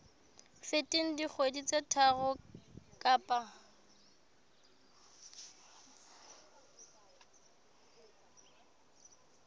feteng dikgwedi tse tharo kapa